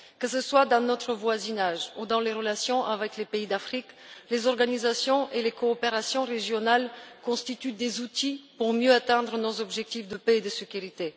Que ce soit dans notre voisinage ou dans les relations avec les pays d'Afrique, les organisations et les coopérations régionales sont des outils permettant de mieux atteindre nos objectifs de paix et de sécurité.